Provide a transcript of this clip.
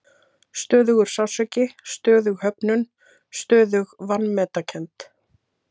Stöðugur sársauki, stöðug höfnun, stöðug vanmetakennd.